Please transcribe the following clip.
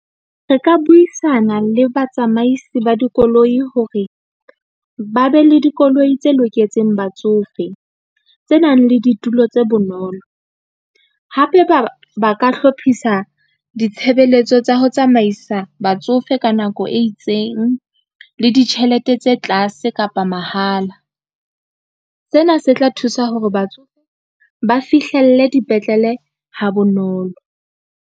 Re ka buisana le batsamaisi ba dikoloi hore, ba be le dikoloi tse loketseng batsofe, tse nang le ditulo tse bonolo. Hape ba ka hlophisa ditshebeletso tsa ho tsamaisa batsofe ka nako e itseng le ditjhelete tse tlase kapa mahala. Sena se tla thusa hore batsofe ba fihlelle dipetlele ha bonolo.